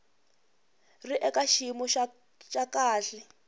ri eka xiyimo xa kahle